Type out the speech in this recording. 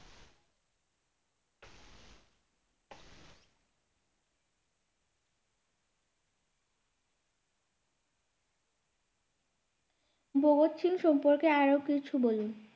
ভগৎ সিং সম্পর্কে আরও কিছু বলুন